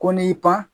Ko n'i pan